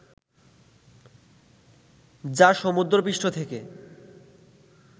যা সমুদ্রপৃষ্ঠ থেকে